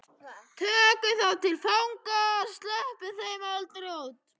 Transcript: Við tökum þá til fanga. sleppum þeim aldrei út.